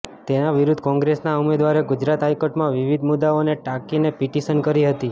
તેના વિરુદ્ધ કોંગ્રેસના ઉમેદવારે ગુજરાત હાઈકોર્ટમાં વિવિધ મુદ્દાઓને ટાંકીને પીટિશન કરી હતી